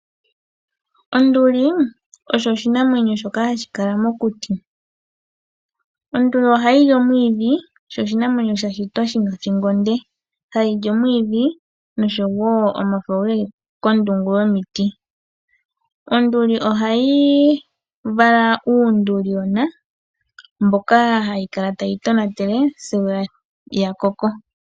Onduli oyo oshinamwenyo shoka hashi kala mokuti. Onduli oshinamwenyo sha shitwa shi na othingo onde. Ohayi li omwiidhi noshowo omafo ge li kondungu yomiti. Onduli ohayi vala uunduligona, mboka hayi kala tayi wu tonatele sigo wa koko.